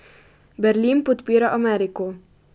Berlin podpira Ameriko.